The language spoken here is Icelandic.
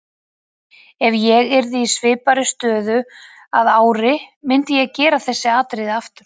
Ef ég yrði í svipaðri stöðu að ári myndi ég gera þessi atriði aftur.